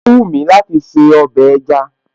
Ó wúmi láti se ọbẹ̀ ẹja